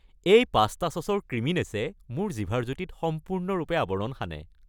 এই পাস্তা চচৰ ক্ৰিমিনেছে মোৰ জিভাৰ জুতিত সম্পূৰ্ণৰূপে আৱৰণ সানে।